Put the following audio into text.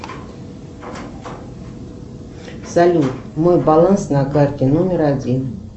салют мой баланс на карте номер один